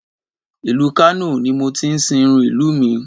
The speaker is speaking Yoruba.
Ìlú Kano ni mo ti sìnrú ìlú